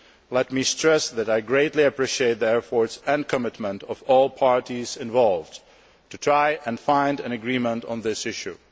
Let me stress that I greatly appreciate the efforts and commitment of all parties involved to trying to find an agreement on this issue.